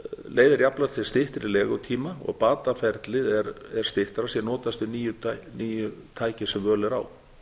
leiðir jafnframt til styttri legutíma og bataferlið er styttra sé notast við nýjustu tæki sem völ er á